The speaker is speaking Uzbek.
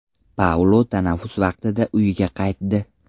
Paulo tanaffus vaqtida uyiga qaytdi.